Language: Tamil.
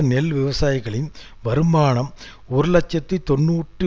நெல் விவசாயிகளின் வருமானம் ஒரு இலட்சத்தி தொன்னூற்றி